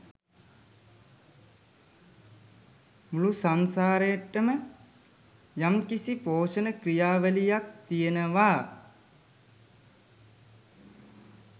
මුළු සංසාරෙටම යම්කිසි පෝෂණ ක්‍රියාවලියක් තියෙනවා.